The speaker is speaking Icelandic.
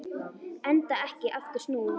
Enda ekki aftur snúið.